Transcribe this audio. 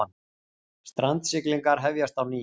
Strandsiglingar hefjist á ný